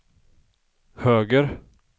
höger